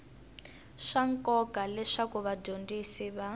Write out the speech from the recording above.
swa nkoka leswaku vadyondzi va